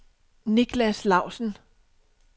Niklas Lausen